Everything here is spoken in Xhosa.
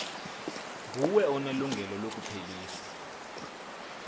nguwe onelungelo lokuphelisa